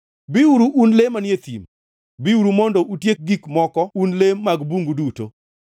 Biuru un le manie thim, biuru mondo utiek gik moko un le mag bungu duto!